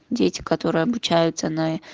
дети которые обучаются на